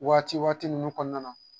Waati waati ninnu kɔnɔna na